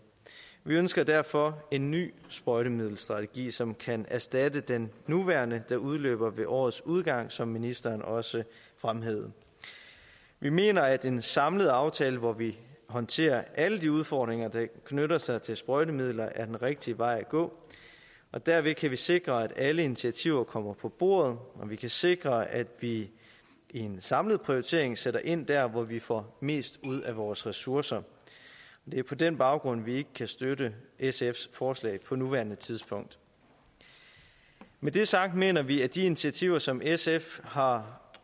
vi ønsker derfor en ny sprøjtemiddelstrategi som kan erstatte den nuværende der udløber ved årets udgang som ministeren også fremhævede vi mener at en samlet aftale hvor vi håndterer alle de udfordringer der knytter sig til sprøjtemidler er den rigtige vej at gå og derved kan vi sikre at alle initiativer kommer på bordet og vi kan sikre at vi i en samlet prioritering sætter ind der hvor vi får mest ud af vores ressourcer det er på den baggrund vi ikke kan støtte sfs forslag på nuværende tidspunkt når det er sagt mener vi at de initiativer som sf har